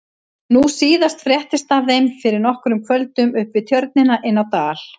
Nú síðast fréttist af þeim fyrir nokkrum kvöldum upp við Tjörnina inni á Dal.